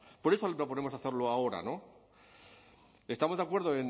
por eso le proponemos hacerlo ahora no estamos de acuerdo